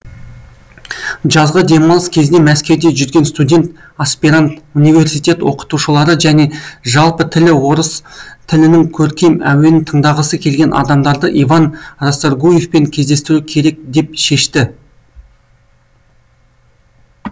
жазғы демалыс кезінде мәскеуде жүрген студент аспирант университет оқытушылары және жалпы тірі орыс тілінің көркем әуенін тыңдағысы келген адамдарды иван расторгуевпен кездестіру керек деп шешті